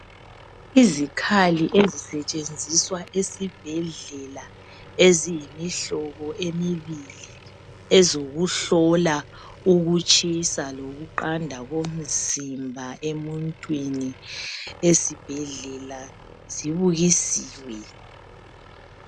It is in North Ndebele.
Izikhali ezisetshenziswa esibhedlela eziyimihlobo emibili, ezokuhlola ukutshisa lokuqanda komzimba emuntwini esibhedlela zibukisiwe